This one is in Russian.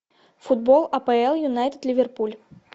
футбол апл юнайтед ливерпуль